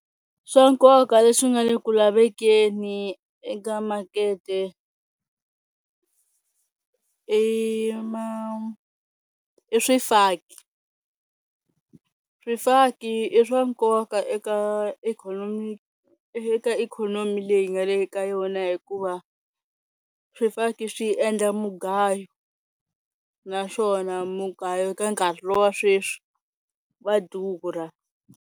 Swa nkoka leswi nga le ku lavekeni eka makete i ma i swifaki, swifaki i swa nkoka eka ikhonomi eka ikhonomi leyi nga le ka yona hikuva swifaki swi endla mugayo, naswona mugayo ka nkarhi lowa sweswi wa durha.